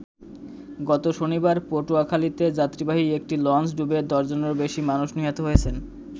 গত শনিবার পটুয়াখালীতে যাত্রীবাহী একটি লঞ্চ ডুবে দশজনেরও বেশি মানুষ নিহত হয়েছেন।